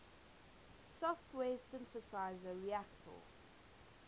software synthesizer reaktor